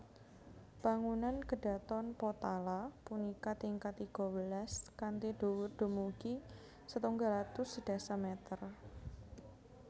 Bangunan Kedhaton Potala punika tingkat tiga welas kanthi dhuwur dumugi setunggal atus sedasa meter